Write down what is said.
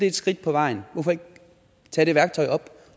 et skridt på vejen hvorfor ikke tage det værktøj op